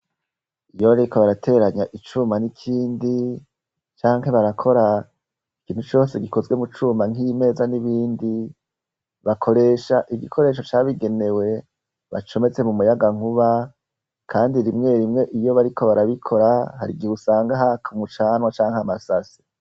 Iyo bariko barateranya icuma n'ikindi canke barakora ikintu cose gikozwe mu cuma nk'imeza n'ibindi, bakoresha igikoresho cabigenewe bacometse mu muyaga nkuba kandi rimwe rimwe iyo bariko barabikora hari gihe usanga haka mucanwa canke amasase.